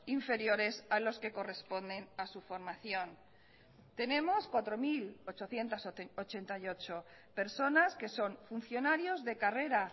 inferiores a los que corresponden a su formación tenemos cuatro mil ochocientos ochenta y ocho personas que son funcionarios de carrera